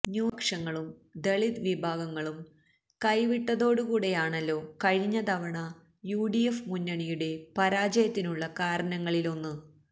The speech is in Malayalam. ന്യൂനപക്ഷങ്ങളും ദളിത് വിഭാഗങ്ങളും കൈവിട്ടതുകൂടെയാണല്ലോ കഴിഞ്ഞ തവണ യു ഡി എഫ് മുന്നണിയുടെ പരാജയത്തിനുള്ള കാരണങ്ങളിലൊന്ന്